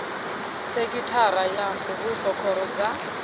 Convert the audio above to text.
sekhithara ya muvhuso khoro dza